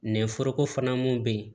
Nɛ foroko fana mun be yen